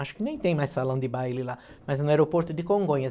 Acho que nem tem mais salão de baile lá, mas no aeroporto de Congonhas.